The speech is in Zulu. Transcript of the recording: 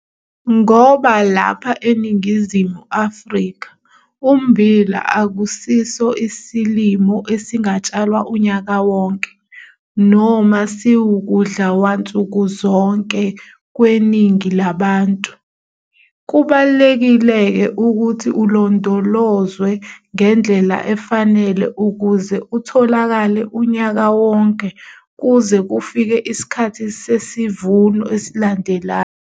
Ngoba lapha eNingizimu Afrika ummbila akusiso isilimo esingatshalwa unyaka wonke, noma siwukudlawansukuzonke kweningi labantu, kubalulekile-ke ukuyhi ulondolozwe ngendlela efanele ukuze utholakale unyaka wonke kuze kufike isikhathi sesivuno esilandelayo.